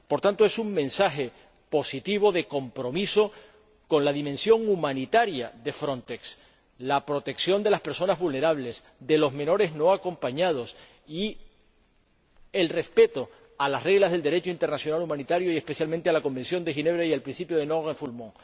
Por tanto, es un mensaje positivo de compromiso con la dimensión humanitaria de Frontex, la protección de las personas vulnerables y de los menores no acompañados y el respeto a las reglas del Derecho internacional humanitario, especialmente a la Convención de Ginebra y al principio de no devolución.